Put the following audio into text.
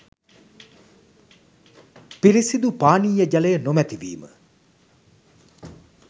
පිරිසිදු පානීය ජලය නොමැතිවීම